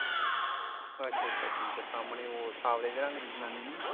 ਅੱਛਾ ਅੱਛਾ ਠੀਕਾ ਸਾਮਣੇ ਉਹ ਸਾਂਵਲੇ ਜਿਹੇ ਰੰਗ ਦੀ ਜਨਾਨੀ ਆ?